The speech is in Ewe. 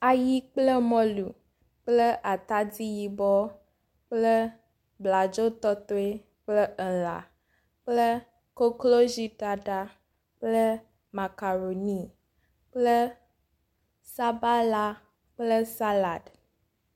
ayi kple mɔlu kple atadi yibɔ kple bladzo tɔtoe kple elã kple koklozi ɖaɖa kple makaroni kple sabala kple salad